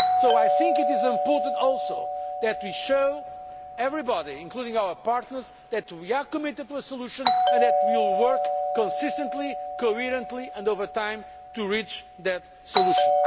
I think it is also important that we show everybody, including our partners, that we are committed to a solution and that we will work consistently, coherently and over time to reach that solution.